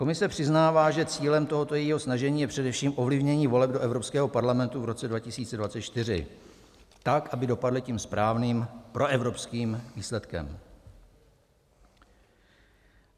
Komise přiznává, že cílem tohoto jejího snažení je především ovlivnění voleb do Evropského parlamentu v roce 2024 tak, aby dopadly tím správným proevropským výsledkem.